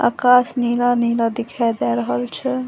आकाश नीला-नीला दिखाई दे रहल छै।